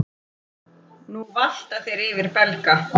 Nú valta þeir yfir Belga.